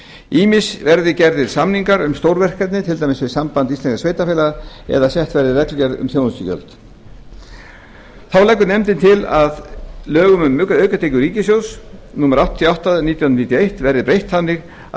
ýmist verði gerðir samningar um stór verkefni til dæmis við samband íslenskra sveitarfélaga eða sett verði reglugerð um þjónustugjöld þá leggur nefndin til að lögum um aukatekjur ríkissjóðs númer áttatíu og átta nítján hundruð níutíu og eitt verði breytt þannig að